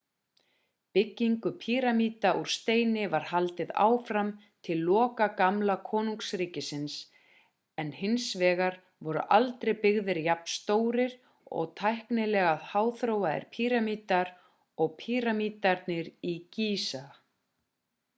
byggingu píramída úr steini var haldið áfram til loka gamla konungsríkisins en hins vegar voru aldrei byggðir jafn stórir og tæknilega háþróaðir píramídar og píramídarnir í gísa